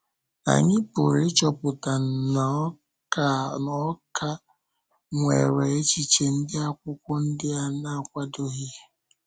Anyị pụrụ ịchọpụta na ọ ka ọ ka nwere echiche ndị Ákwụ́kwọ ndị a na-akwàdòghị.